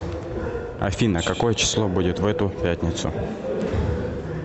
афина какое число будет в эту пятницу